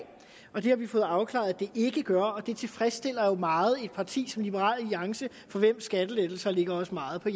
og det har vi fået afklaret at det ikke gør og det tilfredsstiller jo meget et parti som liberal alliance for skattelettelser ligger os meget på